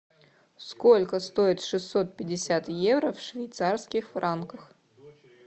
сколько стоит шестьсот пятьдесят евро в швейцарских франках